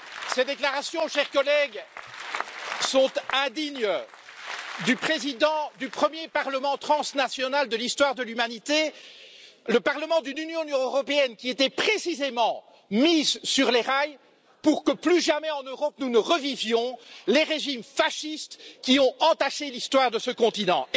Ces déclarations, chers collègues, sont indignes du président du premier parlement transnational de l'histoire de l'humanité, le Parlement d'une Union européenne qui a été précisément mise sur les rails pour que plus jamais en Europe nous ne revivions les régimes fascistes qui ont entaché l'histoire de ce continent.